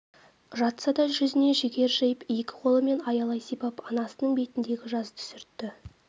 жатса да жүзіне жігер жиып екі қолымен аялай сипап анасының бетіндегі жасты сүртті